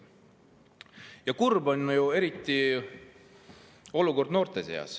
Ja eriti kurb on noorte olukord.